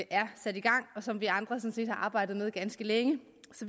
er sat i gang og som vi andre sådan set har arbejdet med ganske længe